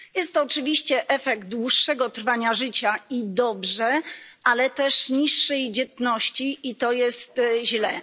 Jest to oczywiście efekt dłuższego trwania życia, i dobrze, ale też niższej dzietności, i to jest źle.